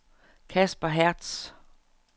Casper Hertz